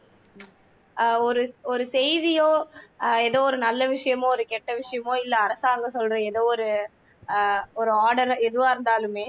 அஹ் ஒரு ஒரு செய்தியோ எதோ ஒரு நல்ல விசயமோ ஒரு கெட்ட விசயமோ இல்லை அரசாங்கம் சொல்ற எதோ ஒரு அஹ் ஒரு order ஆ எதுவா இருந்தாலுமே